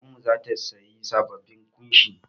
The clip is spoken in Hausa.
Mamanmu za ta sayi sababbin kushin.